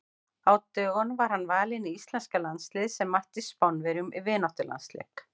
Á dögunum var hann valinn í íslenska landsliðið sem mætti Spánverjum í vináttulandsleik.